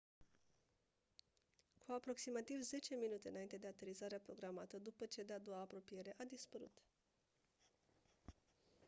cu aproximativ 10 minute înainte de aterizarea programată după cea de-a doua apropiere a dispărut